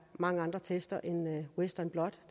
mange andre test end western blot